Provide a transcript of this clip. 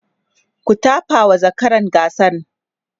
ku tafawa zakaran gasan!